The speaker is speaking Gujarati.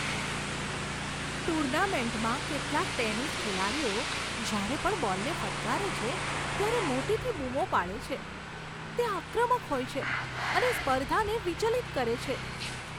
ટુર્નામેન્ટમાં કેટલાક ટેનિસ ખેલાડીઓ જ્યારે પણ બોલને ફટકારે છે, ત્યારે મોટેથી બૂમો પાડે છે, તે આક્રમક હોય છે અને સ્પર્ધાને વિચલિત કરે છે.